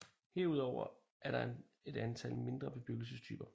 Herudover er der et antal mindre bebyggelsestyper